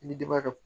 I ni denbaya